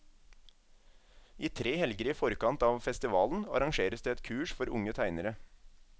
I tre helger i forkant av festivalen arrangeres det et kurs for unge tegnere.